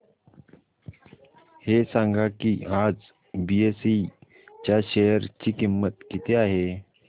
हे सांगा की आज बीएसई च्या शेअर ची किंमत किती आहे